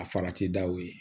A farati daw ye